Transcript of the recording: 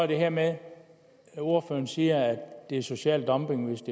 det her med at ordføreren siger at det er social dumping hvis